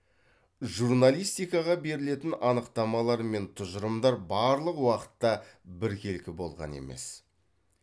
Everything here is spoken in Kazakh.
журналистикаға берілетін анықтамалар мен тұжырымдар барлық уақытта біркелкі болған емес